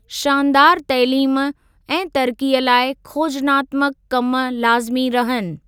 शानदार तइलीम ऐं तरक़ीअ लाइ खोजनात्मक कमु लाज़िमी रहनि।